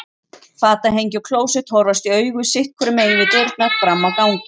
Fatahengi og klósett horfast í augu sitt hvoru megin við dyrnar fram á ganginn.